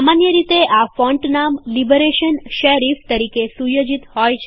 સામાન્ય રીતે આ ફોન્ટ નામ લિબરેશન શેરીફ તરીકે સુયોજિત હોય છે